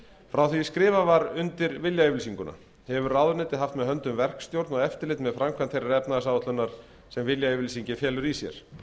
frá því skrifað var undir viljayfirlýsinguna hefur ráðuneytið haft með höndum verkstjórn og eftirlit með framkvæmd þeirrar efnahagsáætlunar sem viljayfirlýsingin felur í sér